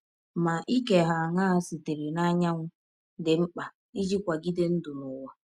Ma ike hà aṅaa sitere n’anyanwụ dị mkpa iji kwagide ndụ n’ụwa?